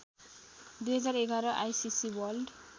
२०११ ICC world